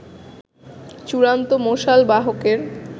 চূড়ান্ত মশাল বাহকের